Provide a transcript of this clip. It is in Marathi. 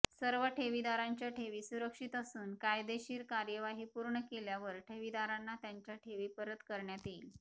सर्व ठेवीदारांच्या ठेवी सुरक्षीत असून कायदेशीर कार्यवाही पूर्ण केल्यावर ठेवीदारांना त्यांच्या ठेवी परत करण्यात येईल